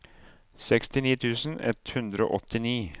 sekstini tusen ett hundre og åttini